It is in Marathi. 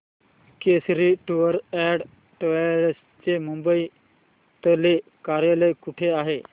केसरी टूअर्स अँड ट्रॅवल्स चे मुंबई तले कार्यालय कुठे आहे